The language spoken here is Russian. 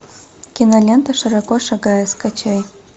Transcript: кинолента широко шагая скачай